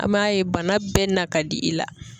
An m'a ye bana bɛɛ na ka di i la.